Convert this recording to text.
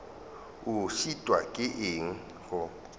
o šitwa ke eng go